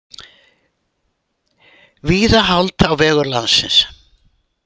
Víða hált á vegum landsins